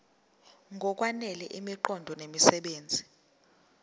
ngokwanele imiqondo nemisebenzi